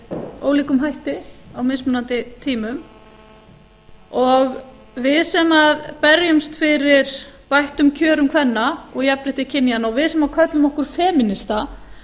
með ólíkum hætti á mismunandi tímum við sem berjumst fyrir bættum kjörum kvenna og jafnrétti kynjanna og við sem köllum okkur femínista